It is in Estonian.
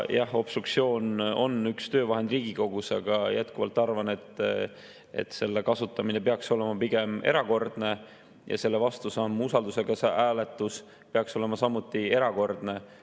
Jah, obstruktsioon on üks töövahend Riigikogus, aga jätkuvalt arvan, et selle kasutamine peaks olema pigem erakordne ja selle vastusamm usaldushääletus peaks olema samuti erakordne.